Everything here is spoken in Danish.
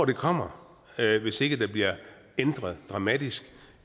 det kommer hvis ikke der bliver ændret dramatisk